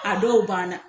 A dɔw ban na